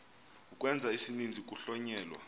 ukwenza isininzi kuhlonyelwa